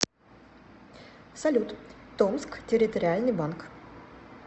салют томск территориальный банк